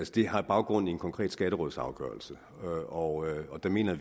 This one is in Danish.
det har baggrund i en konkret skatterådsafgørelse og vi mener